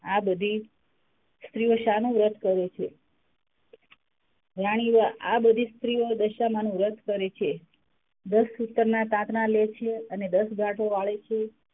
આ બધી સ્ત્રીઓ સાનું વ્રત કરે છે રાણી, આ બધી સ્ત્રીઓ દશામાંનું વ્રત કરે છે. દસ સૂતર ના તાતણા લે છે અને દસ ગાંઠો વાળે છે.